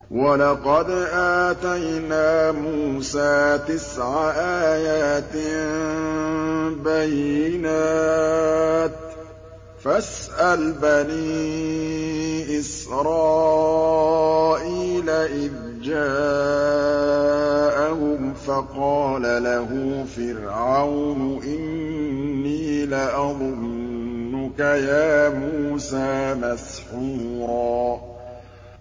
وَلَقَدْ آتَيْنَا مُوسَىٰ تِسْعَ آيَاتٍ بَيِّنَاتٍ ۖ فَاسْأَلْ بَنِي إِسْرَائِيلَ إِذْ جَاءَهُمْ فَقَالَ لَهُ فِرْعَوْنُ إِنِّي لَأَظُنُّكَ يَا مُوسَىٰ مَسْحُورًا